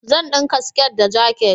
Zan dinka siket da jakit